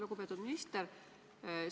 Lugupeetud minister!